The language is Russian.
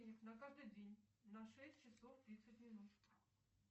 на каждый день на шесть часов тридцать минут